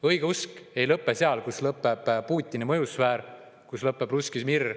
Õigeusk ei lõpe seal, kus lõpeb Putini mõjusfäär, kus lõpeb russki mir.